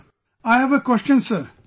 Sir, I have a question sir